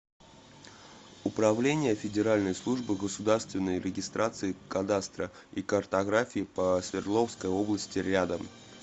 управление федеральной службы государственной регистрации кадастра и картографии по свердловской области рядом